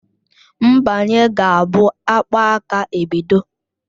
Mgbanye ga-abụ akpaaka ebido.